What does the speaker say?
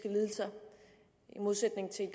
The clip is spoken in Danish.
lidelser i modsætning til i